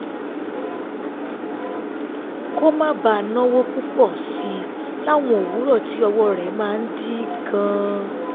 kó má bàa náwó púpọ̀ sí i láwọn òwúrọ̀ tí ọwọ́ rẹ̀ máa ń dí gan-an